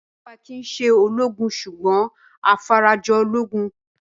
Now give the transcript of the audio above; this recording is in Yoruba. Ọlọ́ọ̀pá kìí se ológun sùgbọ́n afarajolúgun